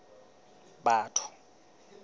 batho